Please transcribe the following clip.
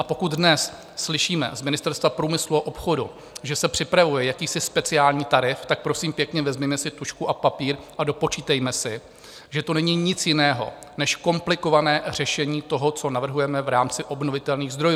A pokud dnes slyšíme z Ministerstva průmyslu a obchodu, že se připravuje jakýsi speciální tarif, tak prosím pěkně, vezměme si tužku a papír a dopočítejme si, že to není nic jiného než komplikované řešení toho, co navrhujeme v rámci obnovitelných zdrojů.